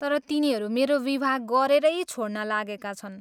तर तिनीहरू मेरो विवाह गरेरै छोड्न लागेका छन्।